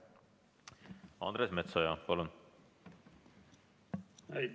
Andres Metsoja, palun!